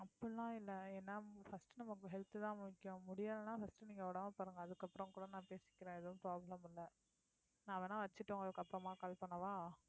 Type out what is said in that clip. அப்படிலாம் இல்லை ஏன்னா first உ நமக்கு health தான் முக்கியம் முடியலைன்னா first நீங்க உடம்ப பாருங்க அதுக்கப்புறம் கூட நான் பேசிக்கிறேன் எதுவும் problem இல்லை நான் வேணா வச்சிட்டு உங்களுக்கு அப்புறமா call பண்ணவா